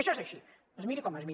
això és així es miri com es miri